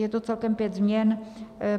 Je to celkem pět změn.